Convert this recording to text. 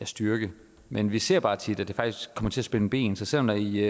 styrke men vi ser bare tit at det faktisk kommer til at spænde ben så selv om der i